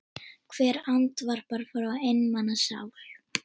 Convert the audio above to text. Hvert andvarp frá einmana sál.